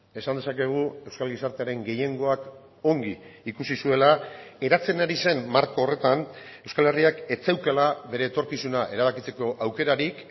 esan dezakegu euskal gizartearen gehiengoak ongi ikusi zuela eratzen ari zen marko horretan euskal herriak ez zeukala bere etorkizuna erabakitzeko aukerarik